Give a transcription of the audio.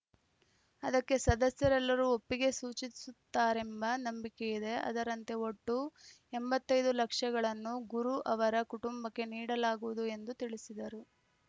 ಅದಕ್ಕೆ ಸದಸ್ಯರೆಲ್ಲರೂ ಒಪ್ಪಿಗೆ ಸೂಚಿಸುತ್ತಾರೆಂಬ ನಂಬಿಕೆಯಿದೆ ಅದರಂತೆ ಒಟ್ಟು ಎಂಬತ್ತ್ ಐದು ಲಕ್ಷಗಳನ್ನು ಗುರು ಅವರ ಕುಟುಂಬಕ್ಕೆ ನೀಡಲಾಗುವುದು ಎಂದು ತಿಳಿಸಿದರು